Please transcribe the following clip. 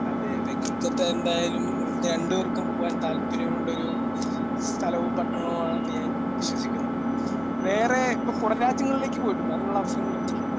അതെ അതെ. കൊൽക്കത്ത എന്തായാലും നമുക്ക് രണ്ട് പേർക്കും പോവാൻ താല്പര്യമുള്ള ഒരു സ്ഥലവും പട്ടണവും ആണെന്ന് ഞാൻ വിശ്വസിക്കുന്നു. വേറെ ഇപ്പോ പുറം രാജ്യങ്ങളിലേക്ക് പോയിട്ടുണ്ടോ? അതിനുള്ള അവസരം ലഭിച്ചിട്ടുണ്ടോ?